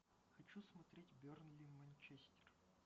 хочу смотреть бернли манчестер